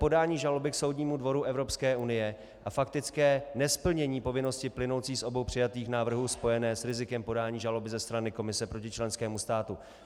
Podání žaloby k Soudnímu dvoru Evropské unie a faktické nesplnění povinnosti plynoucí z obou přijatých návrhů spojené s rizikem podání žaloby ze strany Komise proti členskému státu.